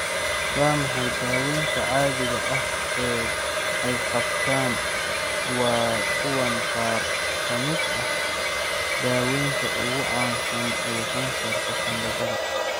Waa maxay daawaynta caadiga ah ee ay qabtaan Waa kuwan qaar ka mid ah daawaynta ugu caansan ee kansarka sanbabada.